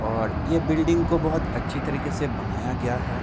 और ये बिल्डिंग को बहुत अच्छी तरके से बनाया गया है।